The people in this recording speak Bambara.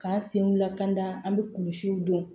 K'an senw lakana an bɛ kulusiw dɔn